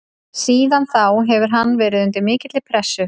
Síðan þá hefur hann verið undir mikilli pressu.